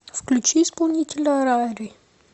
включи исполнителя рари